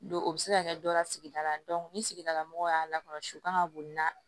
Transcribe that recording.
Don o bɛ se ka kɛ dɔ la sigida la ni sigidala mɔgɔw y'a lakɔlɔsi u kan ka boli na